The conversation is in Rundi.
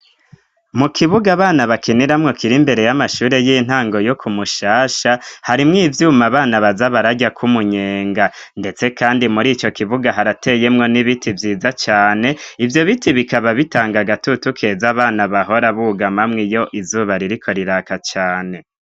Mu kibug'abana bakiniramwo kir' imbere y'amashure y'intango yo kumushasha, harimw' ivyum'abana baza bararya k'umunyenga ,ndetse kandi mur'ico kibuga harateyemwo n'ibiti vyiza cane, ivyo biti bikaba bitanga agatutu keza abana bahora bugamamwe yo izuba ririko riraka cane.